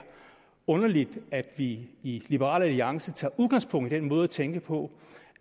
underligt at vi i liberal alliance tager udgangspunkt i den måde at tænke på